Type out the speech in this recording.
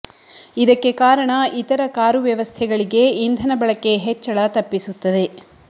ಇದಕ್ಕೆ ಕಾರಣ ಇತರ ಕಾರು ವ್ಯವಸ್ಥೆಗಳಿಗೆ ಇಂಧನ ಬಳಕೆ ಹೆಚ್ಚಳ ತಪ್ಪಿಸುತ್ತದೆ